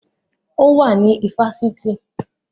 Ó wà ní ifásitì